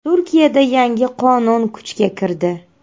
Turkiyada yangi qonun kuchga kirdi.